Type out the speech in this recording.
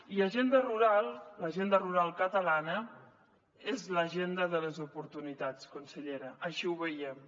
i agenda rural l’agenda rural catalana és l’agenda de les oportunitats consellera així ho veiem